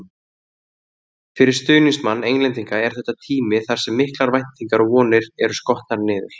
Fyrir stuðningsmann Englendinga er þetta tími þar sem miklar væntingar og vonir eru skotnar niður.